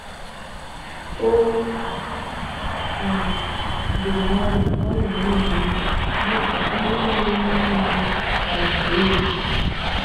O um doro anya na ọ na-eme omume dị ka o nwere ihe niile ma zuo oke.